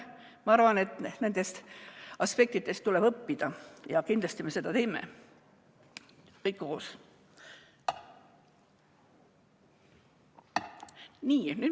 Ma arvan, et nendest aspektidest tuleb õppida ja kindlasti me seda teeme, kõik koos.